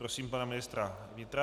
Prosím pana ministra vnitra.